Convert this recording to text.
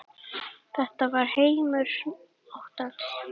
Þetta var heimur óttans.